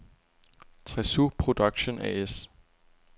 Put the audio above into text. Tresu Production A/S